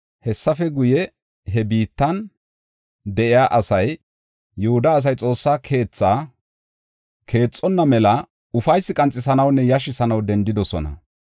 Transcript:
Hessafe guye, he biittan de7iya asay, Yihuda asay Xoossa keetha keexonna mela ufaysi qanxisanawunne yashisanaw dendidosona.